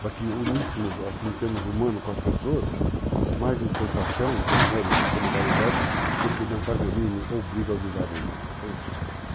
Para que uníssemos, assim, em termos humanos com as pessoas, mais em prestação de amor e solidariedade do que de antagonismo ou briga ou desavenças, entende?